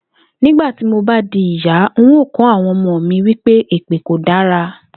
Nígbà tí mo bá di ìyá, n óò kó̩ àwo̩n omo mi wí pé èpè kò dára